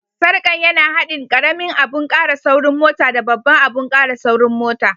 Sarkan ya na hadin karemin abun kara saurin mota da babban abun kara saurin mota.